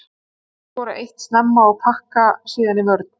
Þeir skora eitt snemma og pakka síðan í vörn.